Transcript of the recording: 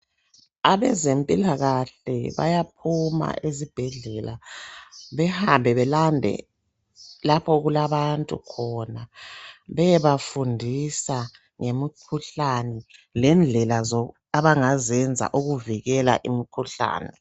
Abezempilakahle bayaphuma ezibhedlela behambe belande lapho okulabantu khona beyebafindisa ngemikhuhlane lendlela abangazenza ukuvikela imikhuhlane.